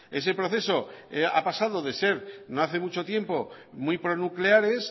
ese proceso ha pasado de ser no hace mucho tiempo muy pronucleares